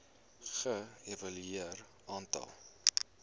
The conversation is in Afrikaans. ge evalueer aantal